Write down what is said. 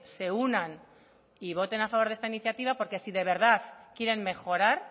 se unan y voten a favor de esta iniciativa porque si de verdad quieren mejorar